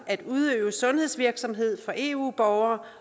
at udøve sundhedsvirksomhed for eu borgere